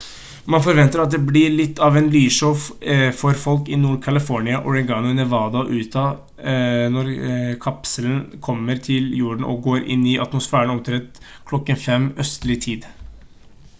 man forventer at det blir litt av et lysshow for folk i nord-california oregon nevada og utah når kapselen kommer til jorden og går inn i atmosfæren omtrent kl. 5:00 østlig tid